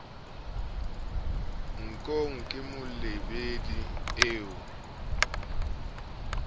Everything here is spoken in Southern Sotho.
nkong ke molebedi eo ho